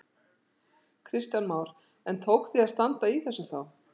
Kristján Már: En tók því að standa í þessu þá?